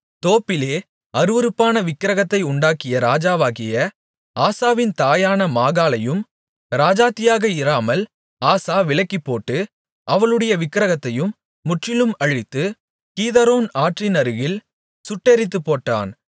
தோப்பிலே அருவருப்பான விக்கிரகத்தை உண்டாக்கிய ராஜாவாகிய ஆசாவின் தாயான மாகாளையும் ராஜாத்தியாக இராமல் ஆசா விலக்கிப்போட்டு அவளுடைய விக்கிரகத்தையும் முற்றிலும் அழித்து கீதரோன் ஆற்றினருகில் சுட்டெரித்துப்போட்டான்